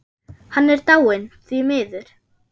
Hann er dáinn, því miður.